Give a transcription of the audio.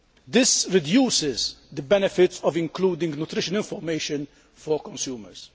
This reduces the benefits of including nutrition information for consumers.